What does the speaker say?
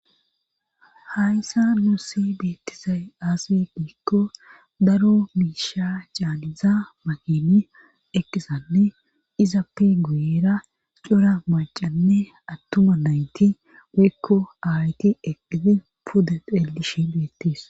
hayssa nuussi beettisay aas giikko daro miisha caaniza makini eqqisanne izappi guyira cora macanne attuma nayti giikko aayti eqqizi puda xeeli shi beettis